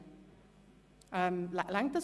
– Das ist der Fall.